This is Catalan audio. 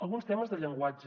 alguns temes de llenguatge